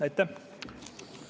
Aitäh!